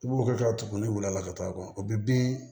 I b'o hakɛ tugu ne weele a la ka taa a kɔ bɛ bin